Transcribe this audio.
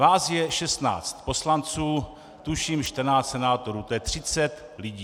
Vás je 16 poslanců, tuším 14 senátorů, to je 30 lidí.